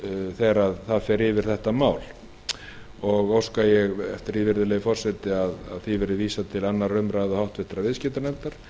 þegar það fer yfir þetta mál hæstvirtur forseti að lokinni þessari umræðu óska ég þess að frumvarpinu verði vísað til annarrar umræðu og háttvirtur viðskiptanefndar